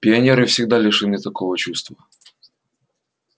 пионеры всегда лишены такого чувства